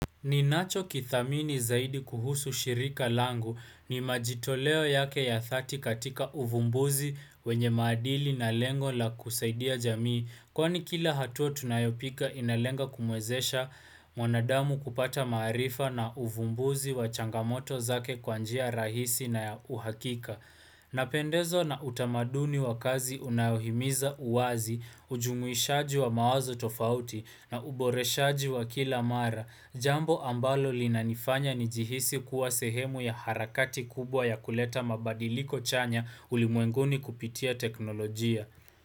Ninacho kithamini zaidi kuhusu shirika langu ni majitoleo yake ya dhati katika uvumbuzi wenye maadili na lengo la kusaidia jamii kwani kila hatua tunayopika inalenga kumwezesha mwanadamu kupata maarifa na uvumbuzi wa changamoto zake kwanjia rahisi na ya uhakika. Na pendezwa na utamaduni wa kazi unayohimiza uwazi, ujumuishaji wa mawazo tofauti na uboreshaji wa kila mara, jambo ambalo linanifanya nijihisi kuwa sehemu ya harakati kubwa ya kuleta mabadiliko chanya ulimwenguni kupitia teknolojia.